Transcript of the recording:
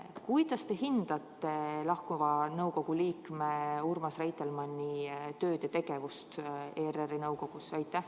Kuidas te hindate lahkuva liikme Urmas Reitelmanni tööd ja tegevust ERR-i nõukogus?